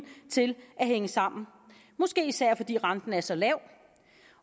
til at hænge sammen måske især fordi renten er så lav